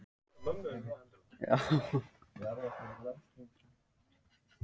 Íslendingar eru líka mjög fámennir í samanburði við aðrar þjóðir.